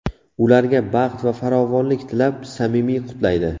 Ularga baxt va farovonlik tilab, samimiy qutlaydi.